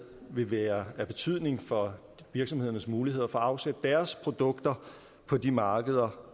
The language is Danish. være af betydning for virksomhedernes muligheder for at afsætte deres produkter på de markeder